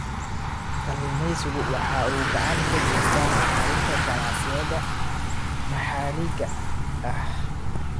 Kalluumaysigu waxa uu gacan ka geystaa horumarinta ganacsiyada maxaliga ah.